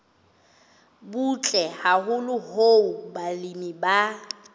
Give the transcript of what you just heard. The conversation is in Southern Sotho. butle haholo hoo balemi ba